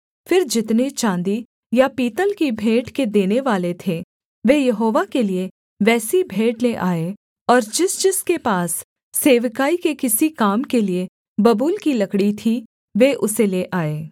फिर जितने चाँदी या पीतल की भेंट के देनेवाले थे वे यहोवा के लिये वैसी भेंट ले आए और जिस जिसके पास सेवकाई के किसी काम के लिये बबूल की लकड़ी थी वे उसे ले आए